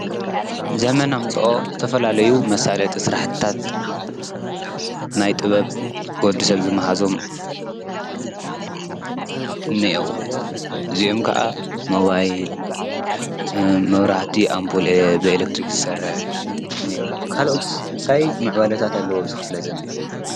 ዘመን ኣምፅኦ ዝተፈላለዩ መሳለጢ ስራሕቲታት ናይ ጥበብ ወዲ ሰብ ዝመሃዞም እኒአዉ፤ እዚኦም ከዓ ሞባይል ፣መብራህቲ ኣምፑል ብኤለክትሪ ዝሰርሕ እኒአዉ። ካልኦትስ ታይ ምዕባለታት ኣለዉ ኣብዚ ክፍለ ዘመን?